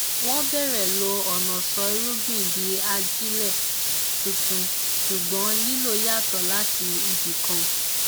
wọn bẹrẹ lo ọnà sọ irúgbìn di ajílẹ tuntun ṣùgbọn lílo yàtọ láti ibì kan